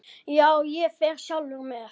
Já, ég fer sjálfur með